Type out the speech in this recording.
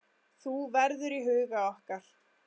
Þú verður í huga okkar.